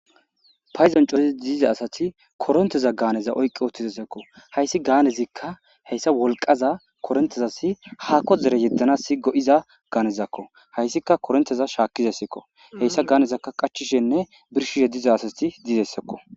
Paydon coriddi diza asati koronteza oykki uuttidayssakko hayssi gaanezikka korontezas wolqqa haako dere yedanas go'iza gaanezakko hayssikka koronteza shaakizayssakko heysa gaanezakka qaachchishenne birshishe diza asati dizayssakko.